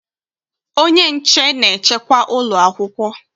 Onye nche na-echekwa ụlọ akwụkwọ